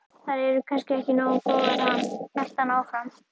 Þær eru kannski ekki nógu góðar, ha? hélt hann áfram.